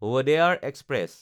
Wodeyar express